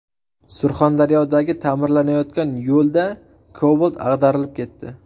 Surxondaryodagi ta’mirlanayotgan yo‘lda Cobalt ag‘darilib ketdi.